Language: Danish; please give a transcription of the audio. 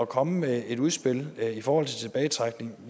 komme med et udspil i forhold til tilbagetrækning